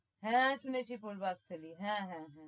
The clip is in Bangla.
হ্যাঁ শুনেছি পূর্বস্থলি হ্যাঁ হ্যাঁ হ্যাঁ